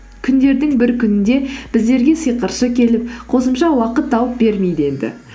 күндердің бір күнінде біздерге сиқыршы келіп қосымша уақыт тауып бермейді енді